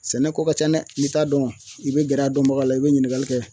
Sɛnɛko ka ca dɛ n'i t'a dɔn i be gɛrɛ a dɔnbagaw la i be ɲiningali kɛ